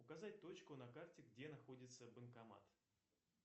показать точку на карте где находится банкомат